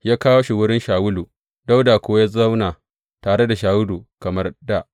Ya kawo shi wurin Shawulu, Dawuda kuwa ya zauna tare da Shawulu kamar dā.